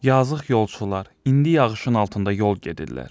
Yazıq yolçular, indi yağışın altında yol gedirlər.